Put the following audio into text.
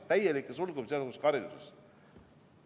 Täielikku sulgemist, sealhulgas ka hariduses.